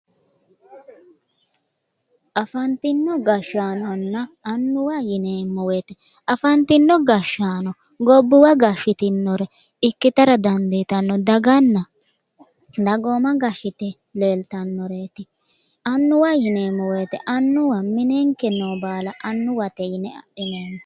Afantino gashaanonna annuwa yinneemmo woyte ,afantino gashaano gobbuwa gashitinore ikkittara dandiittano daganna dagooma gashitino leelittanoreti annuwa yinneemmo woyte annuwa minenke noo baalla annuwate yinne adhineemmo.